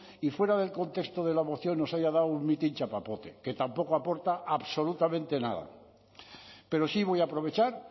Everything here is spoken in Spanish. y fuera del contexto de la moción nos haya dado un mitin chapapote que tampoco aporta absolutamente nada pero sí voy a aprovechar